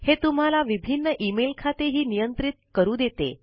हे तुम्हाला विभिन्न इमेल खाते हि नियंत्रित करू देते